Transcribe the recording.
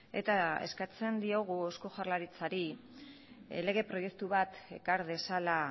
eta eskatzen diogu eusko jaurlaritzari lege proiektu bat ekar dezala